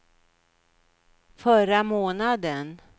förra månaden